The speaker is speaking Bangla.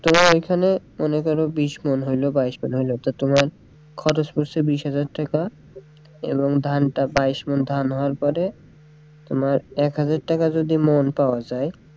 তোমার ওইখানে বিশ ওমন হইলো বাইশ ওমন হইলো তা তোমার খরচ পড়ছে বিশ হাজার টাকা এবং ধানটা বাইশ ওমন ধান হওয়ার পরে তোমার এক হাজার টাকা যদি মোল পাওয়া যায়,